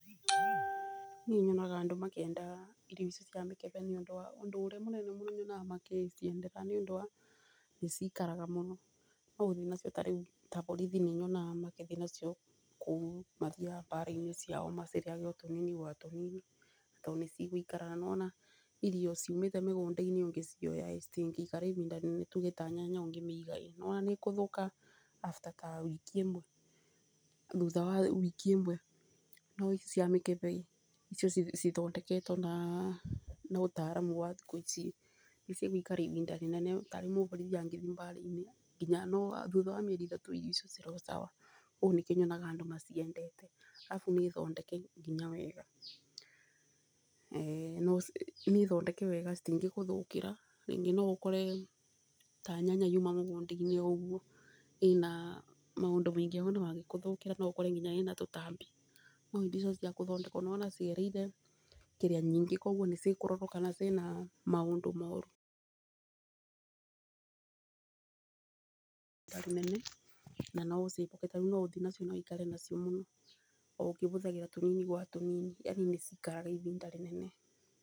Niĩ nyona andũ makĩenda irio ici cia mĩkembe nĩ ũndũ wa ũndũ ũrĩa mũnene mũno nyonaga magĩciendera nĩ ũndũ wa nĩ cikaraga muno. No ũthi nacio tarĩu ta borithi nĩ nyonaga magĩthi nacio ta kũu mathiaga mbara-inĩ ciao macirĩage tũnini o gwa tũnini tondũ nĩ cigũikara. Na nĩwona irio ciumĩte mĩgũnda-inĩ ũngĩciya ĩ citingĩikara ibinda inene, nĩ tuge ta nyanya ũngĩmĩiga çi nĩ wona nĩ ĩgũthũka after ta wiki ĩmwe thutha wa wiki ĩmwe. No ici cia mĩkebe icio cithondeketwo na ũtaramu wa thikũ ici nĩ cigũikara ibinda inene. Tarĩu mũborithi angĩthi mbara-inĩ ngina thutha wa mĩeri ĩtatũ irio icio cirĩ o sawa , ũguo nĩkĩo nyonaga andũ maciendete. Arabu nĩ thondeke nginya wega, nĩ thondeke wega citingĩgũthũkira, rĩngĩ no ũkore ta nyanya yuma mũgũnda-inĩ o ũguo ĩna maũndũ maingĩ mangĩkũthũkĩra no ũkore nginya ĩna tũtambi. No indo icio cia kũthondekwo nĩ wona cigereire kĩrĩa nyinga koguo nĩ cikũrorwo kana ciĩna maũndũ moru tarĩ nene na no ũcikue tarĩu no ũthi nacio na wikare nacio mũno, oũkĩbũthagĩra tũnini gwa tũnini, yani no cikare ihinda inene.